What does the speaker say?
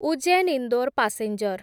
Ujjain Indore passenger